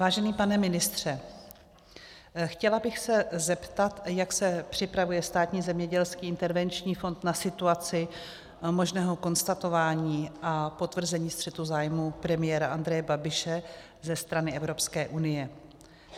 Vážený pane ministře, chtěla bych se zeptat, jak se připravuje Státní zemědělský intervenční fond na situaci možného konstatování a potvrzení střetu zájmu premiéra Andreje Babiše ze strany Evropské unie.